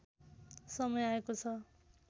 समय आएको छ